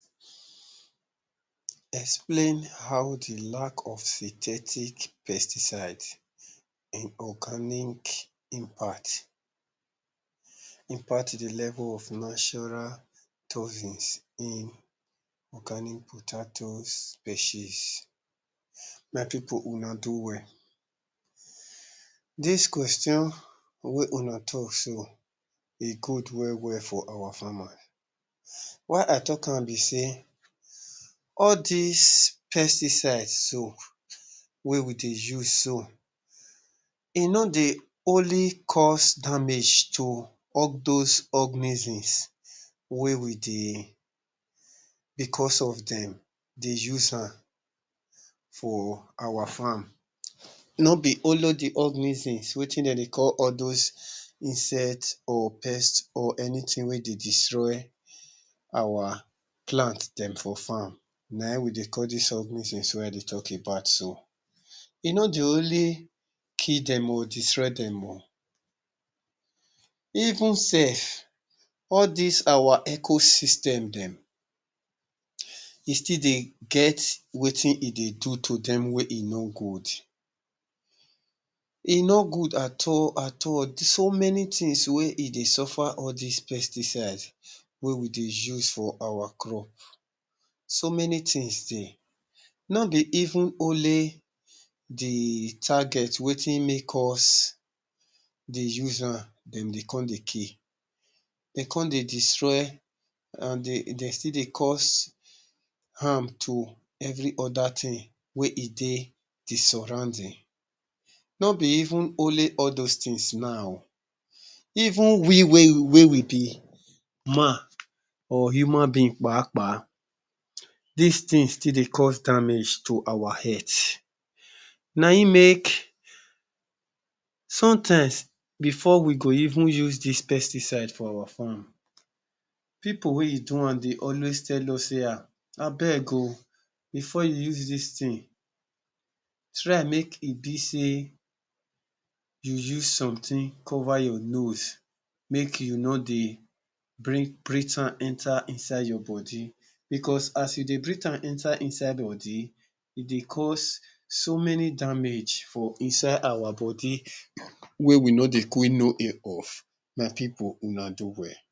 Explain how dey lack of synthetic pesticides in organic impact, impact dey level of natural toxins in organic potatoes species. My pipul una do well, dis question wey una talk so e good well well for our farmers, why i talk am be sey all dis pesticides so wey we dey use so e no dey only cause damage to all those organisms, wey we dey because of dem dey use am for our farm no be only the organisms, wetin dem dey call all those insects or pests or anything wey dey destroy our plant dem for farm na im we dey call these organisms wey we dey talk about so. E no dey only kill dem or destroy dem oo, Even sef all dis our ecoystem dem e still dey get wetin e dey do to dem wey e no good, e no good at all at all so many things wey e dey suffer all dis pesticides wey we dey use for our crop so many things dey, no be even only the target wetin make us dey use am, dem dey come dey kill, dem come dey destroy and dey still the cause harm to every other thing wey e dey dey surrounding even only all those things now, even we wey we be man or human being kpa kpa, dis things still dey cause damage to our health na im make some times before we go even use dis pesticides for our farm, pipul wey e do am dey always tell us sey abeg oo before you use dis thing try make e be sey you use something cover your nose make you no dey breath am enter inside your body because as you dey breath am enter inside body, e dey cause so many damage for inside our body wey we no dey quick know of, my pipul una do well.